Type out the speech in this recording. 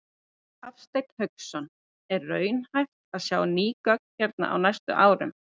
Hafsteinn Hauksson: Er raunhæft að sjá ný göng hérna á næstu árum?